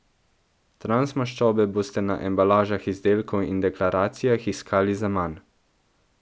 Transmaščobe boste na embalažah izdelkov in deklaracijah iskali zaman.